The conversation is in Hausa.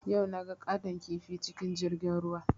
Yau naga ƙaton kifi cikin jirgin ruwa